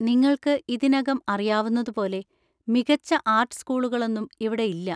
നിങ്ങൾക്ക് ഇതിനകം അറിയാവുന്നതുപോലെ, മികച്ച ആർട്ട് സ്കൂളുകളൊന്നും ഇവിടെയില്ല.